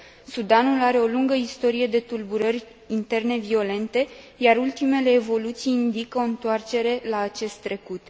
Sudanul are o lungă istorie de tulburări interne violente, iar ultimele evoluții indică o întoarcere la acest trecut.